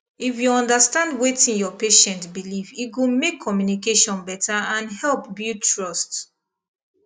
if you understand wetin your patient believe e go make communication better and help build trust